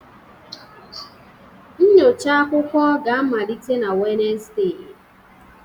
Nyocha akwụkwọ ga-amalite na Wednesde